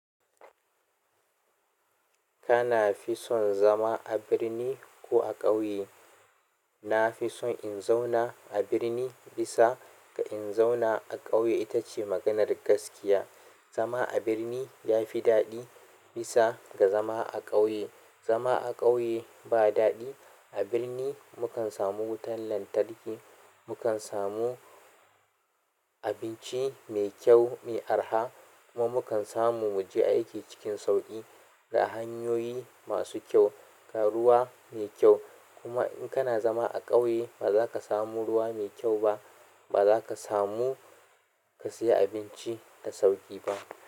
Kana fi son zama a birni ko a ƙauye? Na fi son in zauna a birni bisa ga in zauna a ƙauye. Ita ce maganar gaskiya. Zama a birni ya fi daɗi bisa ga zama a ƙauye. Zama a ƙauye ba daɗi. A birni mu kan samu wutar lantarki, mu kan samu abinci mai kyau mai arha kuma mu kan samu mu je aiki cikin sauƙi ga hanyoyi masu kyau. Ruwa ne mai kyau. Kuma in kna zama a ƙauye baza ka samu ruwa mai kyau ba, baza ka samu ka sayi abinci da sauƙi ba.